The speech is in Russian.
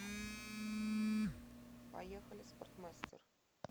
поехали спортмастер